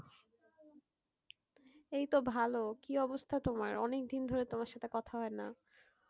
এই তো ভালো। কি অবস্থা তোমার, অনেকদিন ধরে তোমার সাথে কথা হয়না।